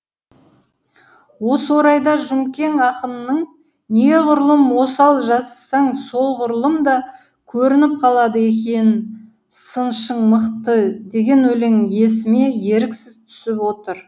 осы орайда жұмкен ақынның неғұрлым осал жазсаң солғұрлым да көрініп қалады екен сыншың мықты деген өлеңі есіме еріксіз түсіп отыр